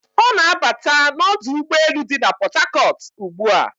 Ọ na-abata n'ọdụ ụgbọelu dị na Pọtakọt ugbu a.